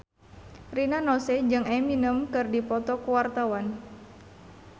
Rina Nose jeung Eminem keur dipoto ku wartawan